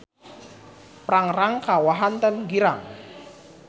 Prangrang ka Wahanten girang.